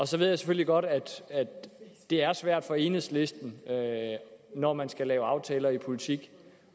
så ved jeg selvfølgelig godt at det er svært for enhedslisten når man skal lave aftaler i politik